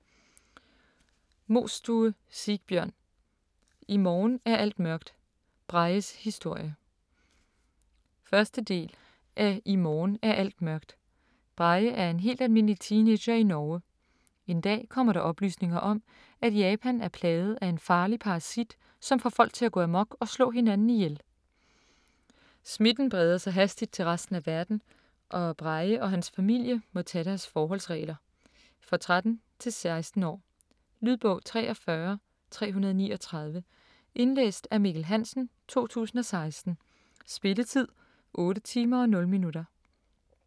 Mostue, Sigbjørn: I morgen er alt mørkt - Brages historie 1. del af I morgen er alt mørkt. Brage er en helt almindelig teenager i Norge. En dag kommer der oplysninger om, at Japan er plaget af en farlig parasit, som får folk til at gå amok og slå hinanden ihjel. Smitten breder sig hastigt til resten af verden, og Brage og hans familie må tage deres forholdsregler. For 13-16 år. Lydbog 43339 Indlæst af Mikkel Hansen, 2016. Spilletid: 8 timer, 0 minutter.